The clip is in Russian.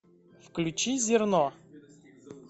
включи зерно